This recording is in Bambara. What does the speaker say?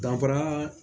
Danfara